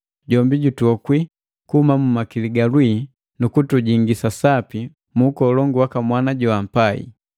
Jombi jutuokwi mwa makili ga lwii, nukutujingisa sapi mu ukolongu waka Mwana joampai.